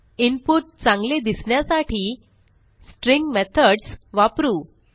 input चांगले दिसण्यासाठी string methods वापरू